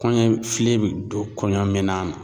Kɔɲɔ fili bɛ don kɔɲɔ mina; na.